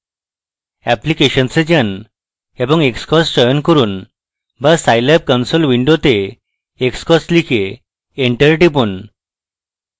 applications এ যান এবং xcos চয়ন করুন go Scilab console window xcos লিখে enter টিপুন